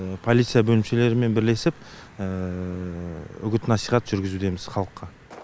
полиция бөлімшелерімен бірлесіп үгіт насихат жүргізудеміз халыққа